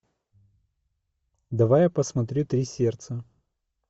давай я посмотрю три сердца